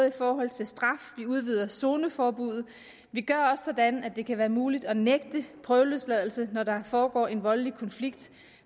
i forhold til straf vi udvider zoneforbuddet og vi gør sådan at det kan være muligt at nægte prøveløsladelse når der foregår en voldelig konflikt